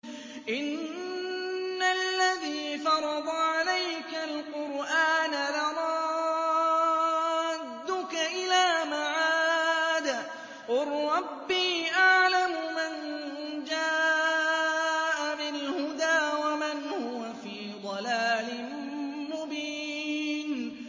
إِنَّ الَّذِي فَرَضَ عَلَيْكَ الْقُرْآنَ لَرَادُّكَ إِلَىٰ مَعَادٍ ۚ قُل رَّبِّي أَعْلَمُ مَن جَاءَ بِالْهُدَىٰ وَمَنْ هُوَ فِي ضَلَالٍ مُّبِينٍ